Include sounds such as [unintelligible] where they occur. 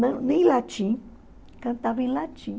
Não [unintelligible] latim, cantavam em latim.